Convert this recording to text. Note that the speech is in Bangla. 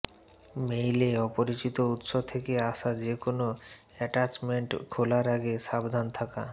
মেইলে অপরিচিত উৎস থেকে আসা যেকোনো অ্যাটাচমেন্ট খোলার আগে সাবধান থাকা